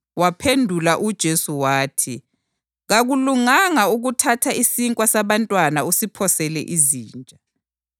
Waphendula uJesu wathi, “Kakulunganga ukuthatha isinkwa sabantwana usiphosele izinja.”